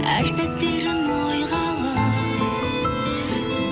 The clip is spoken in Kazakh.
әр сәттерін ойға алып